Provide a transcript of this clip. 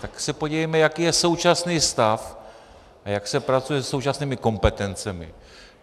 Tak se podívejme, jaký je současný stav a jak se pracuje se současnými kompetencemi.